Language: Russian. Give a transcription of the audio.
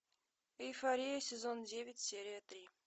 эйфория сезон девять серия три